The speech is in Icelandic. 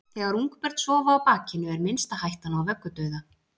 þegar ungbörn sofa á bakinu er minnsta hættan á vöggudauða